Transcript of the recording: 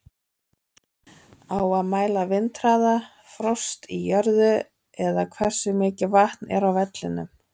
Á að mæla vindhraða, frost í jörðu eða hversu mikið vatn er á vellinum?